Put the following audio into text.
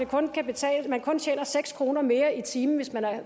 man kun tjener seks kroner mere i timen hvis man